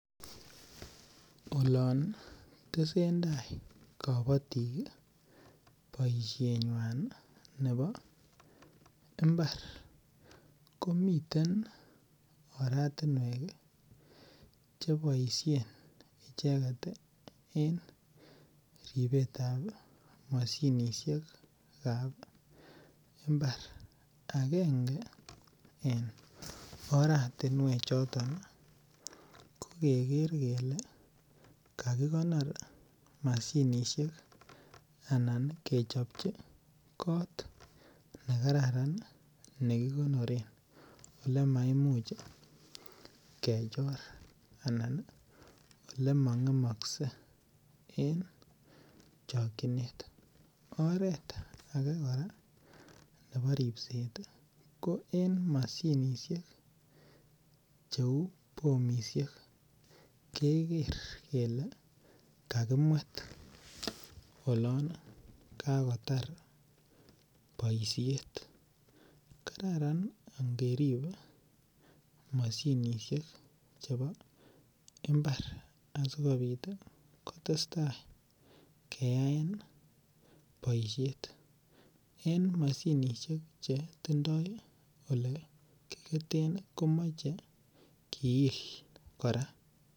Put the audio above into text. En boisiet nebo temisiet . Anan kabatisiet komiten mashinisiek chebaisien ih temik asikosuldaeny icheket ih en kabatishe nyuan . Mashinisiek asikobois en imbarenik ih konyalu keker kele ih kakirib komie asikobit ih komatkome. En mashinisiek chekiketote kouu wilbarisiek ih konunyalu keker kele ih kakirib mugung'et akeiben masiket nemaoo ih , askobit koma en mashinisiek ih konyalu keker kele ih akeyai ole katywo, kit age ko keker kele ih kakiuun mashinisiek chuton ih. Oloon kaketwoen ak kekonori en olemie.